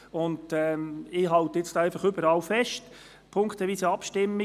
Ich halte an allen Punkten fest – punktweise Abstimmung.